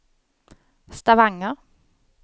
Stavanger